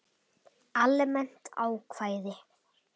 Almennt ákvæði.